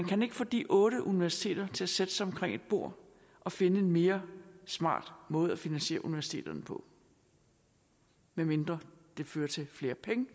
kan få de otte universiteter til at sætte sig omkring et bord og finde en mere smart måde at finansiere universiteterne på medmindre det fører til flere penge